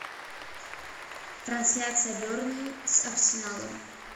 трансляция бернли с арсеналом